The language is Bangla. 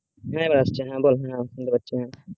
হ্যাঁ এবার আসছে বল শুনতে পাচ্ছি